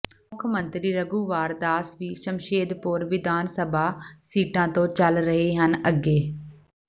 ਮੁੱਖਮੰਤਰੀ ਰਘੁਵਾਰ ਦਾਸ ਵੀ ਸਮਸ਼ੇਦਪੁਰ ਵਿਧਾਨ ਸਭਾ ਸੀਟਾਂ ਤੋਂ ਚੱਲ ਰਹੇ ਹਨ ਅੱਗੇ